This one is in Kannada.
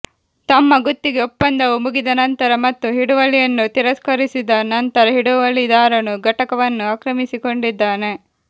ತಮ್ಮ ಗುತ್ತಿಗೆ ಒಪ್ಪಂದವು ಮುಗಿದ ನಂತರ ಮತ್ತು ಹಿಡುವಳಿಯನ್ನು ತಿರಸ್ಕರಿಸಿದ ನಂತರ ಹಿಡುವಳಿದಾರನು ಘಟಕವನ್ನು ಆಕ್ರಮಿಸಿಕೊಂಡಿದ್ದಾನೆ